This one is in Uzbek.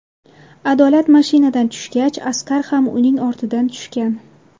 Adolat mashinadan tushgach Asqar ham uning ortidan tushgan.